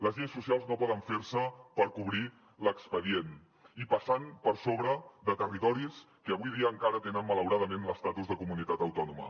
les lleis socials no poden fer se per cobrir l’expedient i passant per sobre de territoris que avui dia encara tenen malauradament l’estatus de comunitat autònoma